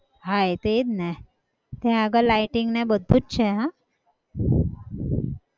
હા એતો એ જ ને ત્યાં આગળ lighting ને બધું જ છે હો.